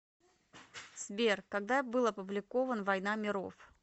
сбер когда был опубликован война миров